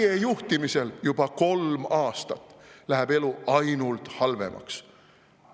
Ja teie juhtimisel juba kolm aastat läheb elu ainult halvemaks.